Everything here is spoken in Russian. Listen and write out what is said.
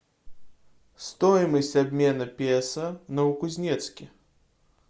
стоимость обмена песо в новокузнецке